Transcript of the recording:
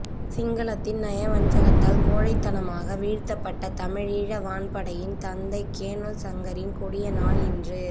சிங்களத்தின் நயவஞ்சகத்தால் கோழைத்தனமாக வீழ்த்தப்பட்ட தமிழீழ வான்படையின் தந்தை கேணல் சங்கரின் கொடிய நாள் இன்று